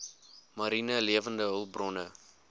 mariene lewende hulpbronne